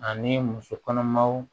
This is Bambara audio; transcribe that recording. Ani muso kɔnɔmaw